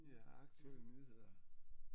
Ja aktuelle nyheder